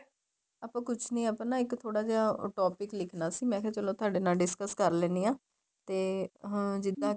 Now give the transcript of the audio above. ਆਪਾਂ ਕੁੱਛ ਨਹੀਂ ਆਪਾਂ ਇੱਕ ਥੋੜਾ ਨਾ ਇੱਕ topic ਲਿੱਖਣਾ ਸੀ ਮੈਂ ਕਿਹਾ ਚਲੋਂ ਤੁਹਾਡੇ ਨਾਲ discuss ਕਰ ਲੈਣੀ ਆ ਤੇ ਅਹ ਜਿੱਦਾਂ ਕੇ